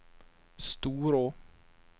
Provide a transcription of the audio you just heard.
Storå